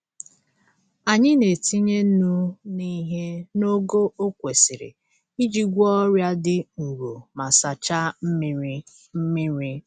Anyị na-etinye nnu n'ihe n’ogo o kwesiri iji gwọọ ọrịa dị nro ma sachaa mmiri. mmiri.